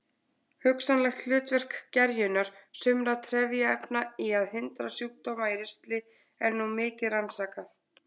Hugsanlegt hlutverk gerjunar sumra trefjaefna í að hindra sjúkdóma í ristli er nú mikið rannsakað.